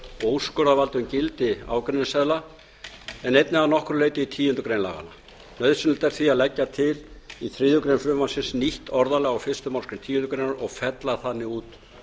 og úrskurðarvald um gildi ágreiningsseðla en einnig að nokkru leyti í tíundu grein laganna nauðsynlegt er því að leggja til í þriðju greinar frumvarpsins nýtt orðalag á fyrstu málsgreinar tíundu greinar og fella þannig út